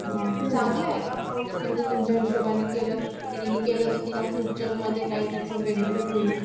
चांगला आहे का कोर्से म्हणजे तुमच्या हिशोबानी केल तिन्ही केल तर तिला फ्युचर मध्ये काही त्याचा बेनीफिट होईल